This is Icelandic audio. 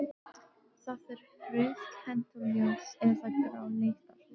Það er frauðkennt og ljós- eða gráleitt að lit.